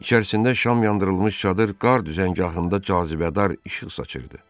İçərisində şam yandırılmış çadır qar düzəngahında cazibədar işıqlanırdı.